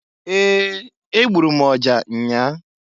Ee! Egburu m ọja nnyaa.